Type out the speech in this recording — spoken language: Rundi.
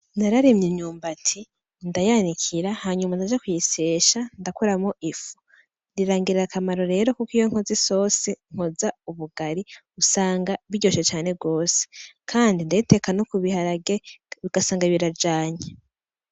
Nararimye imyumbati, ndayanikira hanyuma ndaja kuyisyesha ndakuramwo ifu, birangirira akamaro rero iyo nkoze isosi nkoza ubugari usanga biryoshe cane gose, kandi ndayiteka no kubiharage ugasanga birajanye.